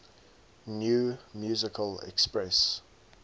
new musical express